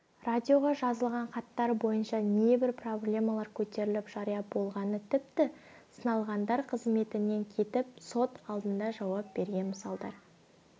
радиоға жазылған хаттар бойынша небір проблемалар көтеріліп жария болғаны тіпті сыналғандар қызметінен кетіп сот алдында жауап берген мысалдар